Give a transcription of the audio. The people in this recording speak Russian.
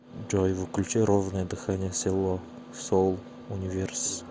джой включи ровное дыхание селло соул универс